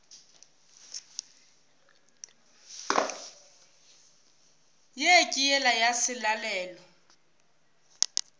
ye ke yela ya selalelo